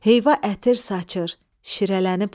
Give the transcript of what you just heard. Heyva ətir saçır, şirələnib nar.